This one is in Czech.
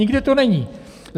Nikde to není.